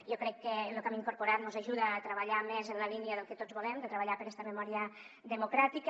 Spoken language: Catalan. jo crec que lo que hem incorporat mos ajuda a treballar més en la línia del que tots volem de treballar per esta memòria democràtica